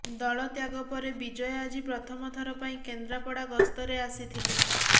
ଦଳ ତ୍ୟାଗ ପରେ ବିଜୟ ଆଜି ପ୍ରଥମଥର ପାଇଁ କେନ୍ଦ୍ରାପଡ଼ା ଗସ୍ତରେ ଆସିଥିଲେ